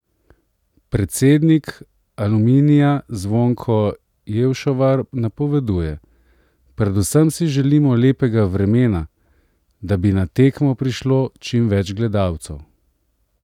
Predsednik Aluminija Zvonko Jevšovar napoveduje: "Predvsem si želimo lepega vremena, da bi na tekmo prišlo čim več gledalcev.